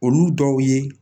Olu dɔw ye